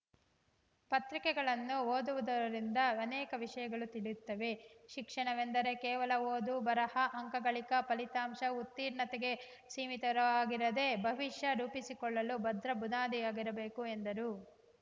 ಪತ್ರಿಕೆಗಳನ್ನು ಓದುವುದರಿಂದ ಅನೇಕ ವಿಷಗಳು ತಿಳಿಯುತ್ತವೆ ಶಿಕ್ಷಣವೆಂದರೆ ಕೇವಲ ಓದು ಬರಹ ಅಂಕ ಗಳಿಕೆ ಫಲಿತಾಂಶ ಉತ್ತೀರ್ಣತೆಗೆ ಸೀಮಿತವಾಗಿರದೇ ಭವಿಷ್ಯ ರೂಪಿಸಿಕೊಳ್ಳಲು ಭದ್ರ ಬುನಾದಿಯಾಗಬೇಕು ಎಂದರು